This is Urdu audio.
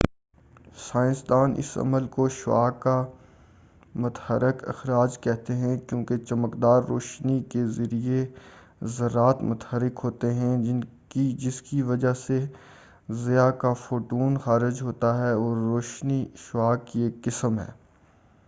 سائنسدان اس عمل کو شعاع کا متحرک اخراج کہتے ہیں کیونکہ چمکدار روشنی کے ذریعہ ذرات متحرک ہوتے ہیں جسکی وجہ سے ضیاء کا فوٹون خارج ہوتا ہے اور روشنی شعاع کی ایک قسم ہے